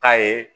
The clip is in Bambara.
K'a ye